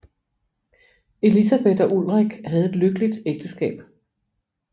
Elisabeth og Ulrik havde et lykkeligt ægteskab